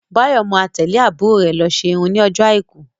Báyọ̀ má tẹ́lẹ̀ àbúrò rè lọ ṣe irun ní ọjọ́ àìkú